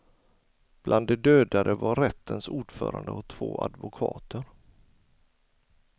Bland de dödade var rättens ordförande och två advokater.